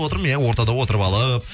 отырмын иә ортада отырып алып